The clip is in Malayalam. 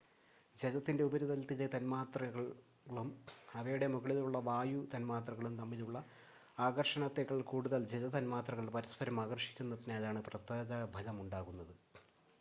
ജലത്തിൻ്റെ ഉപരിതലത്തിലെ തന്മാത്രകളും അവയുടെ മുകളിലുള്ള വായു തന്മാത്രകളും തമ്മിലുള്ള ആകർഷണത്തെക്കാൾ കൂടുതൽ ജല തന്മാത്രകൾ പരസ്പരം ആകർഷിക്കുന്നതിനാലാണ് പ്രതലബലം ഉണ്ടാകുന്നത്